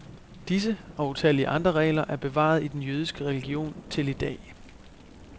Disse og utallige andre regler er bevaret i den jødiske religion til idag.